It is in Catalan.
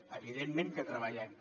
evidentment que hi treballem